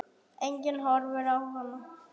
Enginn horfir á hana.